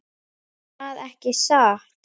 Erða ekki satt?